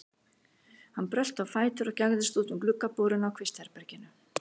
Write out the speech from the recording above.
Hann brölti á fætur og gægðist út um gluggaboruna á kvistherberginu.